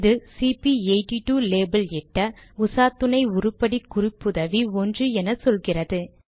இது சிபி82 லேபல் இட்ட உசாத்துணை உருப்படி குறிப்புதவி 1 என சொல்கிறது